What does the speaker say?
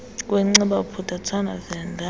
kwenciba bophuthatswana venda